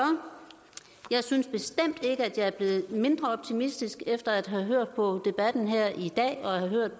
jeg synes bestemt ikke at jeg er blevet mindre optimistisk efter at have hørt på debatten her i dag